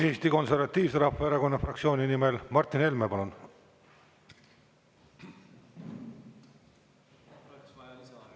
Eesti Konservatiivse Rahvaerakonna fraktsiooni nimel Martin Helme, palun!